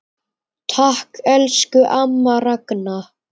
Takk, elsku amma Ragna.